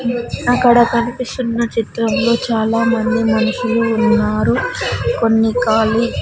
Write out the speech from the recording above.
అక్కడ కనిపిస్తున్నా చిత్రంలో చాలా మంది మనుషులు ఉన్నారు కొన్ని ఖాళీ--